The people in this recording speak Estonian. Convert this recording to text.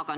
Aga